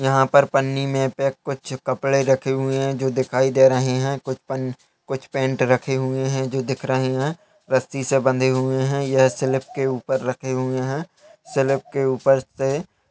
यहाँ पर पन्नी में पैक कुछ कपड़े रखे हुए हैं जो दिखाई दे रहे हैं कुछ पन कुछ पैन्ट रखे हुए हैं जो दिख रहे हैं रस्सी से बँधे हुए हैं यह स्लैब के ऊपर रखे हूए हैं स्लैब के ऊपर से --